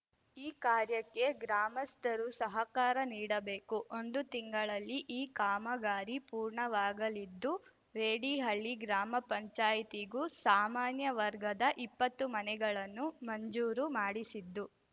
ಈ ಕಾರ್ಯಕ್ಕೆ ಗ್ರಾಮಸ್ಥರು ಸಹಕಾರ ನೀಡಬೇಕು ಒಂದು ತಿಂಗಳಲ್ಲಿ ಈ ಕಾಮಗಾರಿ ಪೂರ್ಣವಾಗಲಿದ್ದು ರೆಡಿಹಳ್ಳಿ ಗ್ರಾಮಪಂಚಾಯ್ತಿಗೂ ಸಾಮಾನ್ಯ ವರ್ಗದ ಇಪ್ಪತ್ತು ಮನೆಗಳನ್ನು ಮಂಜೂರು ಮಾಡಿಸಿದ್ದು